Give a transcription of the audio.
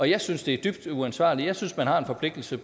jeg synes det er dybt uansvarligt jeg synes man har en forpligtelse